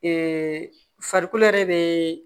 farikolo yɛrɛ be